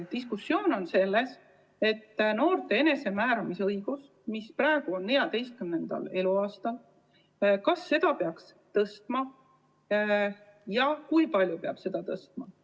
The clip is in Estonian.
Diskussioon käib selle üle, kas noorte enesemääramise eapiiri, mis praegu on 14. eluaasta peal, peaks tõstma ja kui palju seda peaks tõstma.